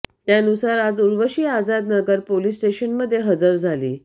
त्यानुसार आज उर्वशी आझाद नगर पोलीस स्टेशनमध्ये हजर झाली